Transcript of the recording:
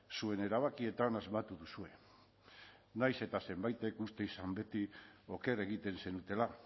zuen erabakietan asmatu duzue nahiz eta zenbaitek uste izan beti oker egiten zenutela